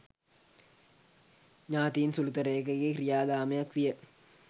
ඥාතීන් සුළුතරයකගේ ක්‍රියාදාමයක් විය